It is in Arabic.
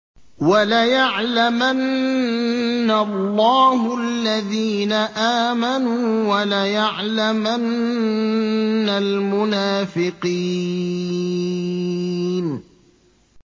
وَلَيَعْلَمَنَّ اللَّهُ الَّذِينَ آمَنُوا وَلَيَعْلَمَنَّ الْمُنَافِقِينَ